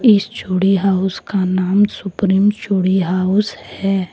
इस चूड़ी हाउस का नाम सुप्रीम चूड़ी हाउस है।